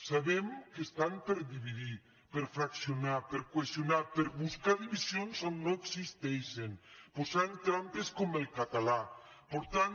sabem que estan per dividir per fraccionar per qüestionar per buscar divisions on no existeixen posant trampes com el cata·là portant